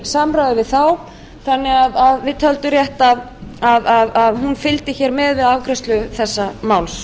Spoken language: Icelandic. samráði við þá þannig að við töldum rétt að hún fylgdi hér með við afgreiðslu þessa máls